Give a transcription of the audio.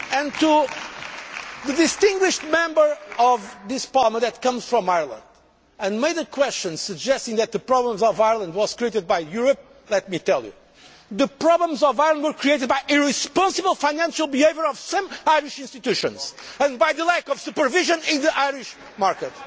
To the distinguished Member of this Parliament who comes from Ireland and asked a question suggesting that the problems of Ireland were created by Europe, let me say the problems of Ireland were created by irresponsible financial behaviour by some Irish institutions and by the lack of supervision in the Irish market.